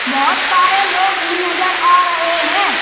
बोहोत सारे लोग भी नजर आ रहे हैं।